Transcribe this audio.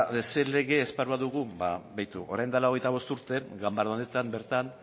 zein lege esparrua dugu ba begiratu orain dela hogeita bost urte ganbara honetan bertan